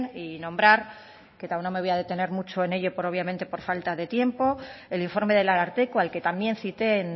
y nombrar que no me voy a detener mucho en ello obviamente por falta de tiempo el informe del ararteko al que también cité en